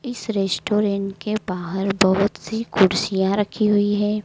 इस रेस्टोरेंट के बाहर बहोत सी कुर्सियां रखी हुई है।